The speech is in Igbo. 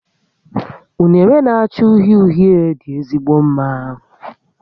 Unere na-acha uhie uhie dị ezigbo mma